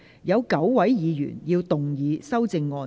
有9位議員要動議修正案。